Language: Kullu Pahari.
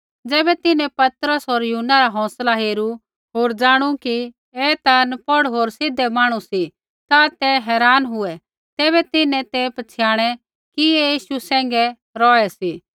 ज़ैबै तिन्हैं पतरस होर यूहन्ना रा हौंसला हेरू होर ज़ाणू कि एथा नपौढ़ होर सीधै माणू सी ता ते हैरान हुऐ तैबै तिन्हैं ते पछ़ियाणै कि ऐ यीशु सैंघै रौहै सी